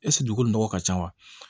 Ɛseke dugu nɔgɔ ka ca wa